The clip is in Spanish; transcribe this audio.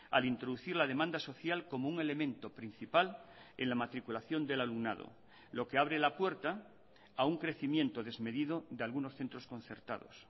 al introducir la demanda social como un elemento principal en la matriculación del alumnado lo que abre la puerta a un crecimiento desmedido de algunos centros concertados